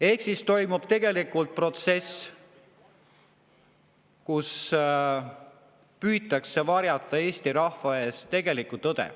Ehk siis toimub tegelikult protsess, kus püütakse varjata Eesti rahva eest tegelikku tõde.